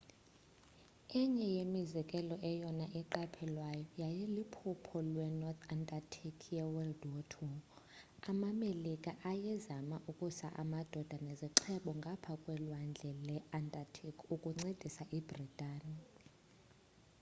enye yemizekelo eyona iqaphelwayo yayiyiliphulo lwe-north atlantic ye-wwii amamelika ayezema ukusa amadoda nezixhobo ngapha kwelwandle le-atlantic ukuncedisa ibritani